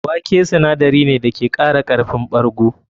Wake sinadari ne da ke kara karfin ɓargo.